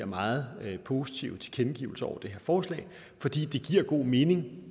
meget positive tilkendegivelser til det her forslag for det giver god mening